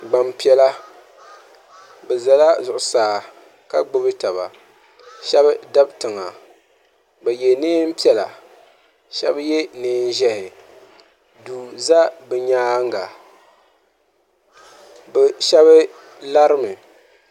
gbaŋ' piɛla bɛ zala zuɣusaa ka gbubi taba shɛba dabi tiŋa bɛ ye neen' piɛla shɛba ye neen' ʒɛhi duu za bɛ nyaaga bɛ shɛba lari mi.